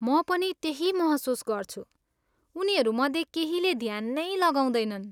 म पनि त्यही महसुस गर्छु, उनीहरू मध्ये केहीले ध्यान नै लगाउँदैनन्।